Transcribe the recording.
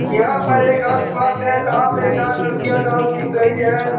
यहाँ पर एक डान्स क्लास है जहाँ पे चार लड़कियाँ डान्स सिख रही है।